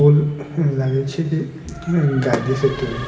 पुल लगे छै की गांधी सेतु हेय।